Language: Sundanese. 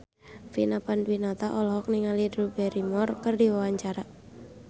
Vina Panduwinata olohok ningali Drew Barrymore keur diwawancara